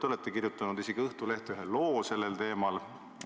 Te olete kirjutanud isegi Õhtulehte ühe loo sellel teemal.